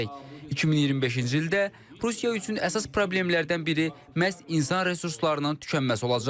2025-ci ildə Rusiya üçün əsas problemlərdən biri məhz insan resurslarının tükənməsi olacaq.